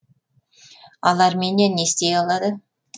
ал армения не істей алады